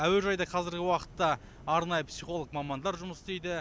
әуежайда қазіргі уақытта арнайы психолог мамандар жұмыс істейді